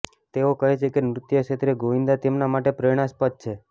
તેઓ કહે છે કે નૃત્ય ક્ષેત્રે ગોવિંદા તેમના માટે પ્રેરણાસ્પદ છે